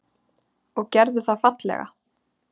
Og gerðu það fallega.